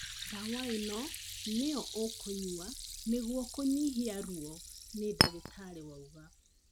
Ndawa ĩno nĩyo ũkũnyua nĩgũo kũnyihia ruo nĩ dagĩtarĩ wauga